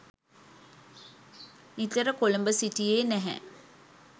නිතර කොළඹ සිටියේ නැහැ.